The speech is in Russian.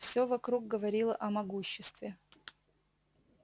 всё вокруг говорило о могуществе